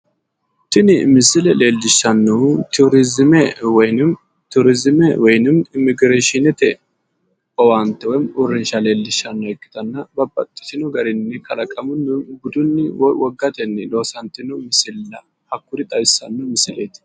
Tini misile leelishanohu Turuzime woyi turiizime woyiinimmi immigireshiinete owaante leellishshanno ikkitanna Babbaxitino garinni kalaqamunni woy wogatenni loosantino misilla hakkuri xawissanno misileti